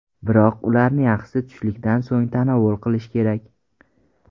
Biroq ularni yaxshisi tushlikdan so‘ng tanovul qilish kerak.